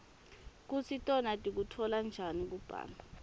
kutsi tona tikutfola njani kubla